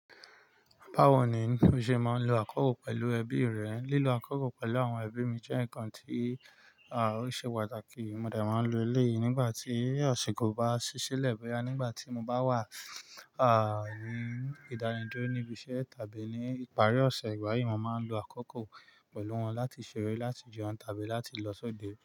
Bawo ni o ṣe máa ń lo àkókò pẹ̀lú ẹbí rẹ? Lílo àkókò pẹ̀lú àwọn ẹbí mi jẹ́ ǹkan tí, à, ó ṣe pàtàkì. Mo de má ń lo eléyi nígbà tí aṣìko bá ṣi ṣilẹ̀ boya nígbà tí mo bá wà, à, ní ìdánidúró níbi iṣẹ́ tàbí ní ìparí ọ̀ṣẹ̀, ìgbà yìí mo máa ń lo àkókò pẹ̀lú wọn láti ṣeré, láti jẹun tàbí láti lọ sọ́dẹ̀.